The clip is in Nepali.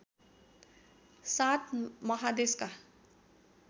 सात महादेशका